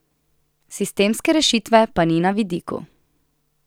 Sistemske rešitve pa ni na vidiku.